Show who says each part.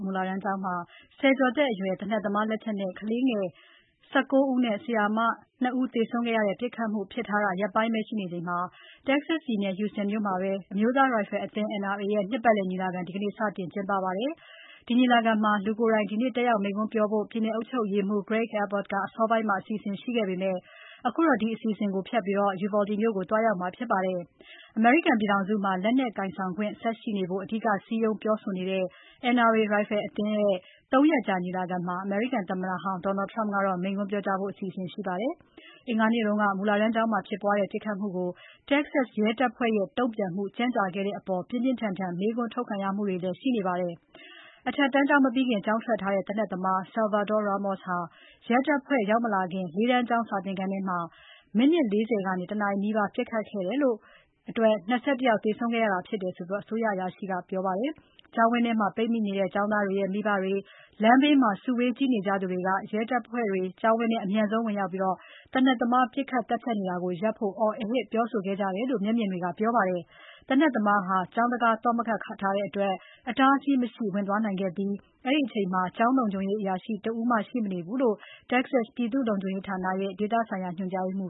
Speaker 1: မူလတန်းကျောင်းမှာ ဆယ်ကျော်သက်အရွယ် သေနတ်သမားလက်ချက်နဲ့ ကလေးငယ် ၁၉ ဦးနဲ့ ဆရာဆရာမ ၂ ဦး သေဆုံးခဲ့ရတဲ့ ပစ်ခတ်မှုဖြစ် ထားတာ ရက်ပိုင်းပဲရှိနေချိန် Texas ပြည်နယ် Houston မြို့မှာ အမျိုးသား ရိုင်ဖယ်အသင်း NRA ရဲ့ နှစ်ပတ်လည် ညီလာခံ ဒီကနေ့ စတင် ကျင်းပမှာဖြစ်ပါတယ်။ ဒီညီလာခံမှာ လူကိုယ်တိုင် တက်ရောက်မိန့်ခွန်းပြောဖို့ ပြည်နယ်အုပ်ချုပ်ရေးမှူး Gregg Abbott က အစောပိုင်းစီစဉ်ခဲ့ပေမယ့် ခုတော့ ဒီ အစီအစဉ်ကိုဖျက်ပြီး Uvalde မြို့ကို သွားရောက်မှာဖြစ်ပါတယ်။ အမေရိကန်ပြည်ထောင်စုမှာ လက်နက်ကိုင်ဆောင်ခွင့် ဆက်ရှိနေဖို့ အဓိက စည်းရုံးပြောဆိုနေတဲ့ NRA ရိုင်ဖယ်အသင်းရဲ့ ၃ ရက်ကြာညီလာခံမှာ အမေရိကန်သမ္မတဟောင်း Donald Trump ကတော့ မိန့်ခွန်း ပြောကြားဖို့ ရှိနေဆဲပါ။ အင်္ဂါနေ့က မူလတန်းကျောင်းမှာဖြစ်ပွားတဲ့ ပစ်ခတ်မှုကို Texas ရဲတပ်ဖွဲ့ရဲ့တုံ့ပြန်မှု ကြန့်ကြာခဲ့တဲ့အပေါ် ပြင်းပြင်းထန်ထန် မေးခွန်းထုတ်ခံ နေရပါတယ်။ အထက်တန်းကျောင်းမပြီးခင် ကျောင်းထွက်ထားတဲ့ သေနတ်သမား Salvador Ramos ဟာ ရဲတပ်ဖွဲ့တွေ ရောက်မလာခင် ၄ တန်းကျောင်းစာသင်ခန်းထဲမှာ မိနစ် ၄၀ ကနေ ၁ နာရီနီးပါး ပစ်ခတ်ခဲ့လို့ ၂၁ ယောက် သေဆုံးခဲ့ရတာ ဖြစ်တယ်လို့ အစိုးရအရာရှိတွေက ပြောပါတယ်။ ကျောင်းဝန်းထဲ ပိတ်မိနေတဲ့ကျောင်းသားတွေရဲ့ မိဘတွေ၊ လမ်းဘေးမှာ စုဝေး ကြည့်နေကြသူတွေက ရဲတပ်ဖွဲ့တွေ ကျောင်းဝန်းထဲ အမြန်ဆုံးဝင်ပြီး သေနတ်သမားက ပစ်ခတ် သတ်ဖြတ်နေတာကို ပ်ဖို့ အော်ဟစ် ပြောဆိုခဲ့ကြတယ်လို့ မျက်မြင်တွေက ပြောပါတယ်။ သေနတ်သမားဟာ ကျောင်းတံခါး သော့ခတ်မထားတဲ့အတွက် အတားအဆီးမရှိ ဝင်သွားနိုင် ခဲ့ပြီး အဲ့ဒီအချိန်မှာ ကျောင်းလုံခြုံရေးအရာရှိ တဦးမှရှိမနေဘူးလို့ တက္ကဆက် ပြည်သူ့လုံခြုံရေး ဌာနရဲ့ ဒေသဆိုင်ရာ ညွှန်ကြားရေးမှ